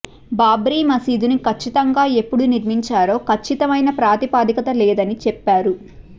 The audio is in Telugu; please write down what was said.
బాబ్రీ మసీదుని కచ్చితంగా ఎప్పుడు నిర్మించారో కచ్చితమైన ప్రాతిపదిక లేదని చెప్పారు